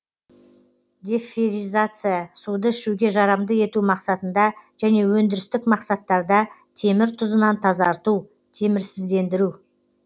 деферризация суды ішуге жарамды ету мақсатында және өндірістік мақсаттарда темір тұзынан тазарту темірсіздендіру